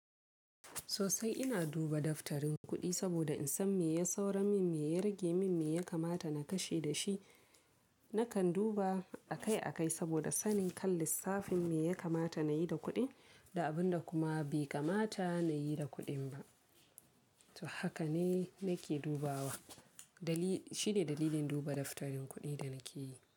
Sosai ina duba daftarin kuɗi saboda in san me ya sauro min, me ya rage min, me ya kamata na kashe da shi. Nakan duba akai-akai saboda sanin kan lissafin me ya kamata na yi da kuɗin da abin da kuma bai kamata na yi da kuɗin ba. To haka ne nake dubawa. Dali shi ne dalilin duba daftarin kuɗin da nake yi.